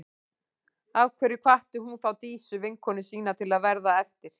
Af hverju hvatti hún þá Dísu, vinkonu sína, til að verða eftir?